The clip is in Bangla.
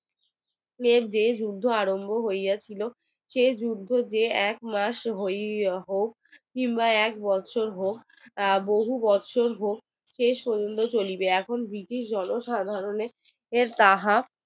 যে যুদ্ধ আরম্ভ হইয়া ছিল সে যুদ্ধ যে এক মাস হইয়া হোক কিংবা এক বছর হোক বহু বছর হোক কে শুনবে চলিবে এখন ব্রিটিশ জনসাধারণের তাহা